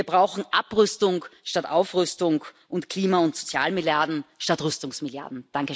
Wir brauchen Abrüstung statt Aufrüstung und Klima und Sozialmilliarden statt Rüstungsmilliarden.